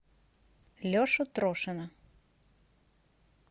лешу трошина